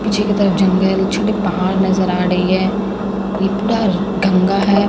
पीछे की तरफ जंगल छोटा पहाड़ नजर आ रही है ये पूरा गंगा है।